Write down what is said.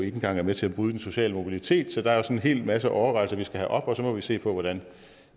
engang er med til at bryde den sociale mobilitet så der er en hel masse overvejelser vi skal have op og så må vi se på hvordan